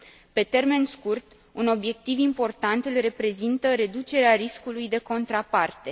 Pe termen scurt, un obiectiv important îl reprezintă reducerea riscului de contraparte.